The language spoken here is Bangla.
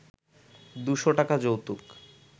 দু’শ টাকা যৌতুক